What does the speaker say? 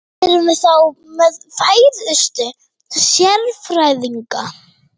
Erum við þá með færustu sérfræðingana?